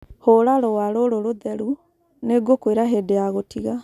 Hũra rũũa rũrũ rũtheru. Nĩ ngũkwĩra hĩndĩ ya gũtiga.